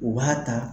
U b'a ta